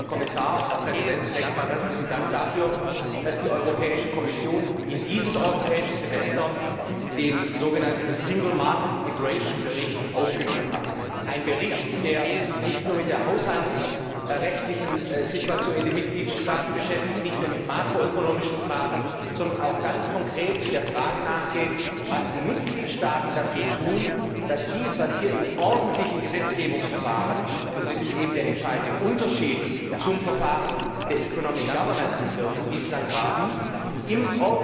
Deswegen, Herr Kommissar, Herr Präsident, zunächst einmal herzlichen Dank dafür, dass die Europäische Kommission in dieses Europäische Semester den Bericht über den Stand der Binnenmarktintegration aufgenommen hat, einen Bericht, der sich nicht nur mit der haushaltsrechtlichen Situation in den Mitgliedstaaten beschäftigt, nicht nur mit makroökonomischen Fragen, sondern auch ganz konkret der Frage nachgeht, was die Mitgliedstaaten dafür tun, dass dies, was hier im ordentlichen Gesetzgebungsverfahren und das ist eben der entscheidende Unterschied zum Verfahren der das wir bislang haben auf europäischer